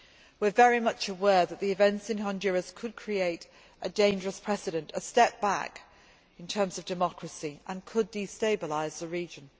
We are very much aware that the events in Honduras could create a dangerous precedent, a step back in terms of democracy, and could destabilise the region.